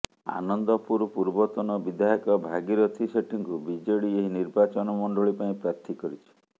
ଆନନ୍ଦପୁର ପୂର୍ବତନ ବିଧାୟକ ଭାଗୀରଥୀ ସେଠୀଙ୍କୁ ବିଜେଡି ଏହି ନିର୍ବାଚନ ମଣ୍ଡଳୀ ପାଇଁ ପ୍ରାର୍ଥୀ କରିଛି